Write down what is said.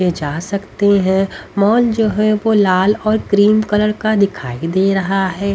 ये जा सकती हैं मॉल जो है वो लाल और क्रीम कलर का दिखाई दे रहा है।